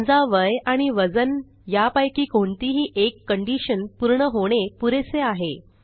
समजा वय आणि वजन यापैकी कोणतीही एक कंडिशन पूर्ण होणे पुरेसे आहे